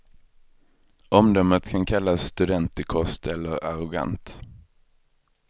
Omdömet kan kallas studentikost eller arrogant.